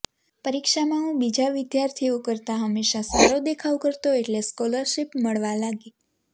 પરીક્ષામાં હું બીજા વિદ્યાર્થીઓ કરતા હંમેશાં સારો દેખાવ કરતો એટલે સ્કોલરશિપ મળવા લાગી